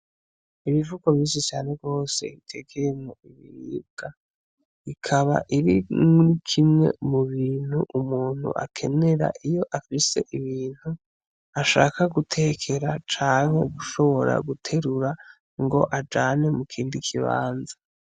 Ibivugo bisi cane rwose itegeremwo ibiribwa ikaba iri ni kimwe mu bintu umuntu akenera iyo akise ibintu ashaka gutekera canke ugushobora guterura ngo ajane mu kindi kibanza.